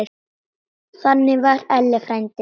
Þannig var Elli frændi.